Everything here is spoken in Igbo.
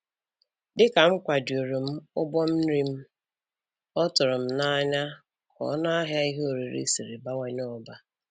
Dịka m kwajuru m ụgbọ nri m, ọ tụrụm n'anya ka ọnụahịa ihe oriri si bawanye ọzọ